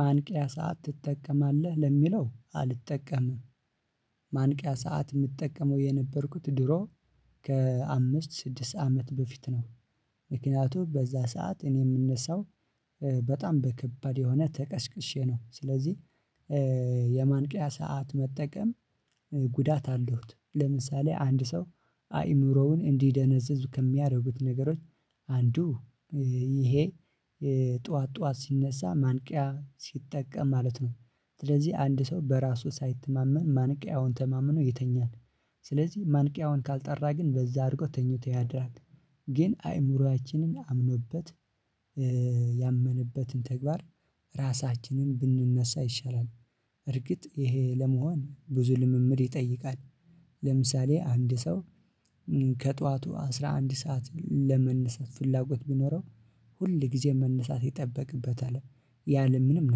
ማንቂያ ሰዓት ትጠቀማለህ ለሚለው አልጠቀምም። ማንቂያ ሰዓት የምትጠቀመው የነበርኩት ድሮ ከአምስት ስድስት አመት በፊት ነው። ምክንያቱም በዛ ሰዓት እኔ የምነሳው በጣም በከባድ የሆነ ተቀስቅሼ ነው። ስለዚህ የማንቂያ ሰዓት መጠቀም ጉዳት አለሁት። ለምሳሌ አንድ ሰው አእምሮውን እንዲደነዘዙ ከሚያደርጉት ነገሮች አንዱ ይሄ ጠዋት ጠዋት ሲነሳ ማንቂያ ሲጠቀም ማለት ነው። ስለዚህ አንድ ሰው በራሱ ሳይተማመን ማንቂያውን ተማምኖ ይተኛል። ስለዚህ ማንቂያውን ካልጠራ ግን በዛ አድርጎ ተኝቶ ያድራል። ግን አይምሮአችንን አምኖበት ያመነበትን ተግባር ራሳችንን ብንነሳ ይሻላል። እርግጥ ይሄ ለመሆን ብዙ ልምምድ ይጠይቃል። ለምሳሌ አንድ ሰው ከጥኋቱ አስራ አንድ ሰዓት ለመነሳት ፍላጎት ቢኖረው ሁል ጊዜ መነሳት ይጠበቅበታል። ያለምንም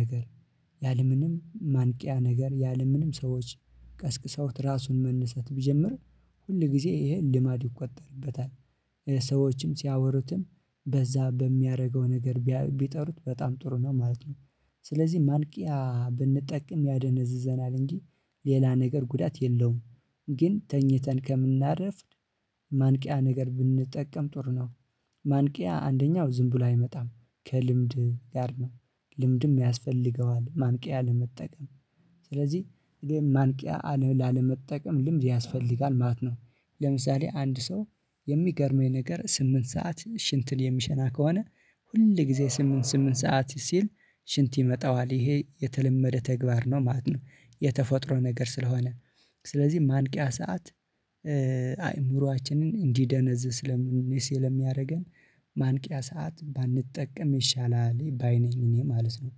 ነገር ያለምንም ማንቂያ ነገር ያለምንም ሰዎች ቀስቅሰውት ራሱን መነሰት ቢጀምር ሁል ጊዜ ይሄን ልማድ ይቆጠርበታል። ሰዎችም ሲያወሩትም በዛ በሚያደርገው ነገር ቢጠሩት በጣም ጥሩ ነው ማለት ነው። ስለዚህ ማንቂያ ብንጠቀም ያደነዝዘናል እንጂ ሌላ ነገር ጉዳት የለውም። ግን ተኝተን ከምናርፍድ ማንቂያ ነገር ብንጠቀም ጥር ነው። ማንቂያ አንደኛው ዝም ብሎ አይመጣም ከልምድ ጋር ነው። ልምድም ያስፈልገዋል ማንቂያ ለመጠቀም ስለዚህ ይሄን ማንቂያ ላለመጠቀም ልምድ ያስፈልጋል ማለት ነው። ለምሳሌ አንድ ሰው የሚገርመኝ ነገር ስምንት ሰዓት ሽንትን የሚሸና ከሆነ ሁል ጊዜ ስምንት ስምንት ሰዓት ሲል ሽንት ይመጣዋል ይሄ የተለመደ ተግባር ነው ማለት ነው። የተፈጥሮ ነገር ስለሆነ ስለዚህ ማንቂያ ሰዓት አይምሮአችንን እንዲደነዝዝ ስለሚያደርገን ማንቂያ ሰዓት ባንጠቀም ይሻላል ባይ ነኝ እኔ ማለት ነው።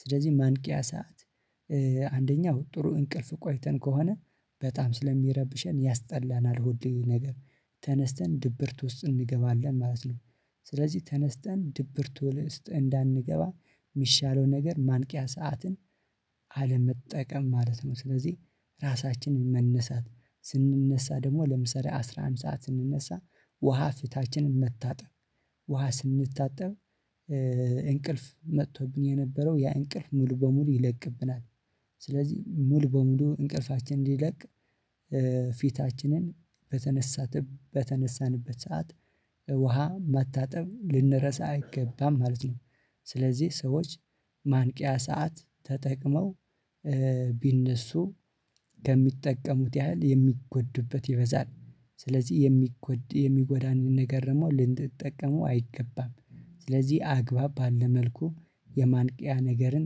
ስለዚህ ማንቂያ ሰዓት አንደኛው ጥሩ እንቅልፍ ቆይተን ከሆነ በጣም ስለሚረብሸን ያስጠላናል ሆዴ ነገር ተነስተን ድብርት ውስጥ እንገባለን ማለት ነው። ስለዚህ ተነስተን ድብርት ውስጥ እንዳንገባ የሚሻለው ነገር ማንቂያ ሰዓትን አለመጠቀም ማለት ነው። ስለዚህ ራሳችንን መነሳት ስንነሳ ደግሞ ለምሳሌ አስራ አምስት ሰዓት ስንነሳ ውሃ ፍታችንን መታጠብ ውሃ ስንታጠብ እንቅልፍ መጥቶብን የነበረው ያ እንቅልፍ ሙሉ በሙሉ ይለቅብናል። ስለዚህ ሙሉ በሙሉ እንቅልፋችንን እዲለቅ ፊታችንን በተነሳንበት ሰዓት ውሃ ማታጠብ ልንረሳ አይገባም ማለት ነው። ስለዚህ ሰዎች ማንቂያ ሰዓት ተጠቅመው ቢነሱ ከሚጠቀሙት ያህል የሚጎዱበት ይበዛል። ስለዚህ የሚጎዳን ነገር ነው ልንጠቀመው አይገባም ስለዚህ አግባብ ባለ መልኩ የማንቂያ ነገርን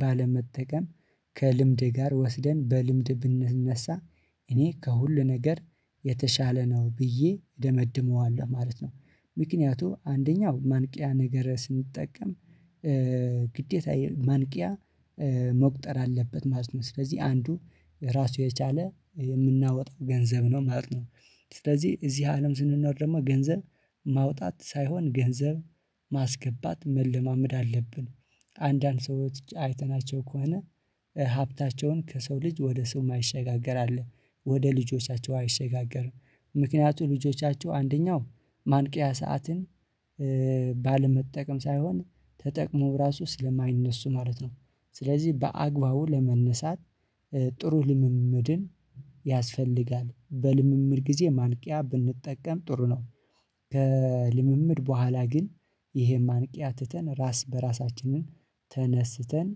ባለመጠቀም ከልምዴ ጋር ወስደን በልምድ ብንነሳ እኔ ከሁሉ ነገር የተሻለ ነው ብዬ እደመድመዋለሁ ማለት ነው። ምክንያቱም አንደኛው ማንቂያ ነገር ስንጠቀም ግዴታ ማንቂያ መቁጠር አለበት ማለት ነው ስለዚህ አንዱ ራሱ የቻለ የምናወጣው ገንዘብ ነው ማለት ነው። ስለዚህ እዚህ አለም ስንኖር ደግሞ ገንዘብ ማውጣት ሳይሆን ገንዘብ ማስገባት መለማመድ አለብን። አንዳንድ ሰዎች አይተናቸው ከሆነ ሀብታቸውን ከሰው ልጅ ወደ ሰው ማይሸጋገር አለ ወደ ልጆቻቸው አይሸጋገርም። ምክንያቱም ልጆቻቸው አንደኛው ማንቂያ ሰዓትን ባለመጠቀም ሳይሆን ተጠቅመው ራሱ ስለማይነሱ ማለት ነው። ስለዚህ በአግባቡ ለመነሳት ጥሩ ልምምድን ያስፈልጋል በልምምድ ጊዜ ማንቂያ ብንጠቀም ጥሩ ነው። በልምምድ በኋላ ግን ይሄም አንቂያ ትተን ራስ በራሳችንን ተነስተን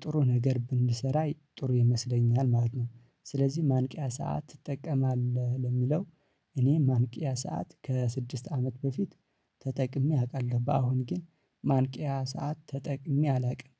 ጥሩ ነገር ብንሰራ ጥሩ ይመስለኛል ማለት ነው። ስለዚህ ማንቂያ ሰዓት ትጠቀማለህ ለሚለው እኔ ማንቂያ ሰዓት ከስድስት አመት በፊት ተጠቅሜ አውቃለሁ። በአሁን ግን ማንቂያ ሰዓት ተጠቅሜ አላውቅም።